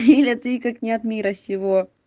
лиля ты как не от мира сего